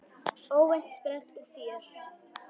Óvænt sprell og fjör.